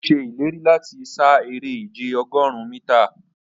Ọ̀ sẹ̀ ilẹ̀rí lati ṣà èrè ìjẹ̀ ogórùn míta.